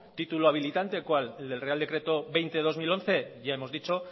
título habilitante cuál el del real decreto veinte barra dos mil once ya hemos dicho